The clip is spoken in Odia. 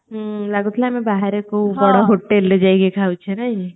ଲାଗୁଥିଲା ଆମେ ବାହାରେ କୋଉ ବଡ hotelରେ ଯାଇକି ଖାଉଛେ ନାଇକି